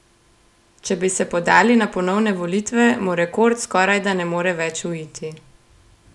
Če bi se podali na ponovne volitve, mu rekord skorajda ne more več uiti.